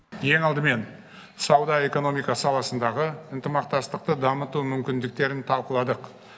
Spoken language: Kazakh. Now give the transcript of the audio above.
ең алдымен сауда экономика саласындағы ынтымақтастықты дамыту мүмкіндіктерін талқыладық